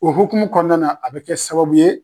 O hukumu kɔnɔna na a bɛ kɛ sababu ye